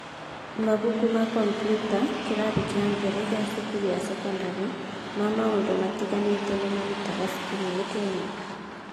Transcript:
Mabuku ma kompiuta (kĩrathi gĩa mbere gĩa cukuru ya thekondarĩ) ma maũndũ matiganĩte ni marutagwo cukuru-inĩ Kenya